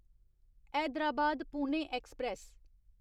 Hyderabad Pune express